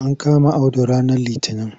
An kama Audu ranar litinin.